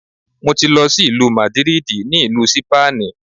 Mo ti lọ sí ìlú Màdídìrì ní ìlú Sípánìì.